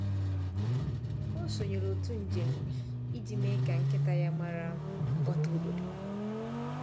Ọ sonyere òtù njem iji mee ka nkịta ya mara mkpọtụ obodo.